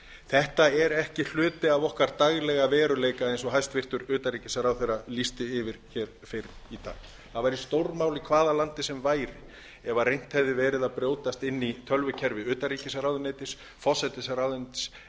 þetta er ekki hluti af okkar daglega veruleika eins og hæstvirtur utanríkisráðherra lýsti yfir fyrr í dag það væri stórmál í hvaða landi sem væri ef reynt hefði verið að brjótast inn í tölvukerfi utanríkisráðuneytis forsætisráðuneytis eða